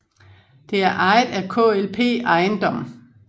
Det er ejet af KLP Eiendom